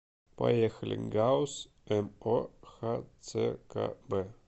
поехали гауз мо хцкб